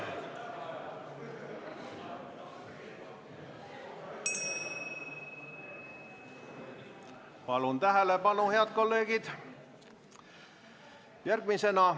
Palun tähelepanu, head kolleegid!